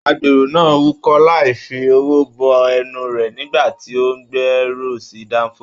Agbéró náà wúkọ̀ láì fi ọwọ bo ẹnu rẹ nígbà tí o n gbéró sí danfo.